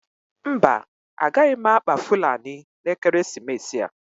Mba, agaghị m akpa fulani n'ekeresimesi a.